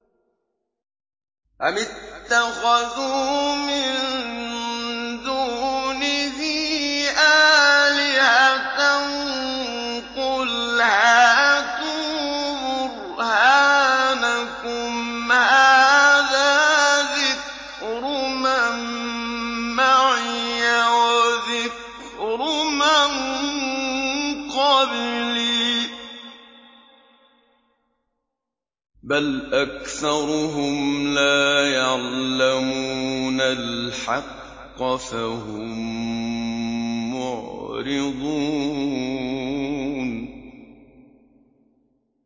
أَمِ اتَّخَذُوا مِن دُونِهِ آلِهَةً ۖ قُلْ هَاتُوا بُرْهَانَكُمْ ۖ هَٰذَا ذِكْرُ مَن مَّعِيَ وَذِكْرُ مَن قَبْلِي ۗ بَلْ أَكْثَرُهُمْ لَا يَعْلَمُونَ الْحَقَّ ۖ فَهُم مُّعْرِضُونَ